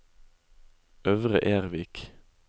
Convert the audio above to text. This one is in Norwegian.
Øvre Ervik